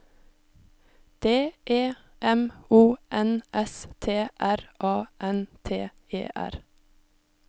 D E M O N S T R A N T E R